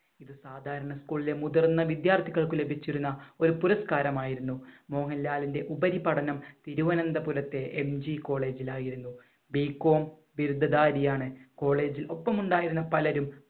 ഒരു സാധാരണ school ലെ മുതിർന്ന വിദ്യാർത്ഥികൾക്ക് ലഭിച്ചിരുന്ന ഒരു പുരസ്കാരമായിരുന്നു. മോഹൻലാലിന്‍റെ ഉപരിപഠനം തിരുവനന്തപുരത്തെ MGCollege ൽ ആയിരുന്നു. B. com ബിരുദ്ധധാരിയാണ്. കോളേജിൽ ഒപ്പമുണ്ടായിരുന്ന പലരും